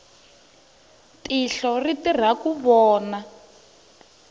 tihlo ri tirha ku vona